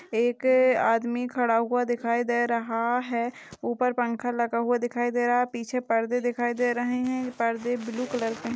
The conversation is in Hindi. एक अादमी खड़ा हुआ दिखाई दे रहा है ऊपर पंखा लगा हुआ दिखाई दे रहा है पीछे पर्दे दिखाई दे रहे है पर्दे ब्लू कलर के--।